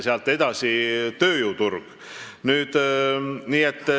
Sealt edasi tuleb tööjõuturg.